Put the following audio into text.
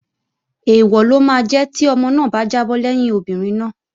Èèwọ̀ ló máa jẹ́ tí ọmọ náà bá jábọ́ lẹ́yìn obìnrin náà